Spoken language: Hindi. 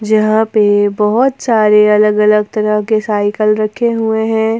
यहां पे बहुत सारे अलग अलग तरह के साइकिल रखे हुए हैं।